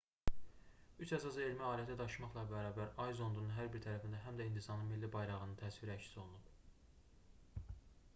üç əsas elmi aləti daşımaqla bərabər ay zondunun hər bir tərəfində həm də hindistanın milli bayrağının təsviri əks olunub